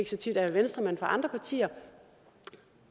så tit af en venstremand men fra andre partier